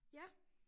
Ja